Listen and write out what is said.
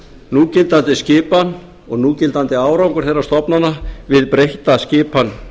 núgildandi skipan og núgildandi árangur þeirra stofnana við breytta skipan